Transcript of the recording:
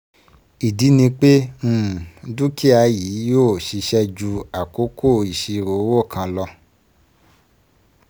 Ìdí ni pé um dúkìá yìí yìó ṣiṣẹ́ ju àkókò ìṣirò owó kan lo